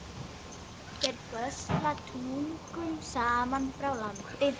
Þeir gösla tugum saman frá landi.